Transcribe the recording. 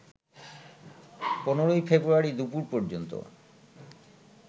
১৫ February দুপুর পর্যন্ত